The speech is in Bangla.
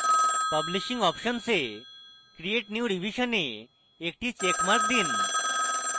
publishing options a create new revision a একটি চেকমার্ক দিন